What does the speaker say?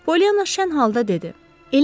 Polyanna şənlə ağladı dedi.